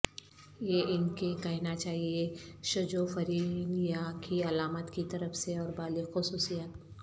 یہ ان کہ کہنا چاہیئے شجوفرینیا کی علامات کی طرف سے اور بالغ خصوصیات